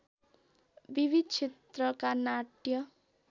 विविध क्षेत्रका नाट्य